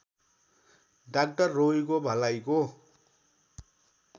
doctor रोगीको भलाइको